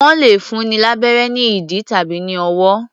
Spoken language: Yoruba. Wọ́n lẹ̀ fúnni lábérẹ́ ní ìdí tàbí ní ọwọ́.